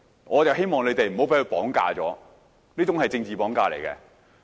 我希望你們不要被他綁架，這種是"政治綁架"。